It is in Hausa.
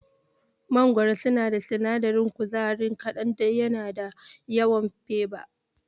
Mangorori suna da sinadarin kuzari kaɗan yana da yawan fiber.